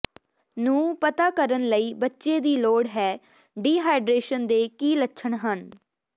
ਨੂੰ ਪਤਾ ਕਰਨ ਲਈ ਬੱਚੇ ਦੀ ਲੋੜ ਹੈ ਡੀਹਾਈਡਰੇਸ਼ਨ ਦੇ ਕੀ ਲੱਛਣ ਹਨ